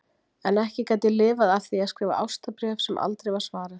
En ekki gat ég lifað af því að skrifa ástarbréf sem aldrei var svarað.